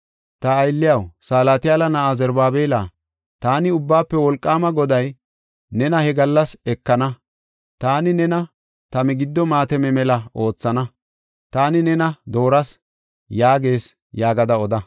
‘Ta aylliyaw, Salatiyaala na7a Zarubaabela, taani Ubbaafe Wolqaama Goday nena he gallas ekana. Taani nena ta migiddo maatame mela oothana. Taani nena dooras’ yaagees” yaagada oda.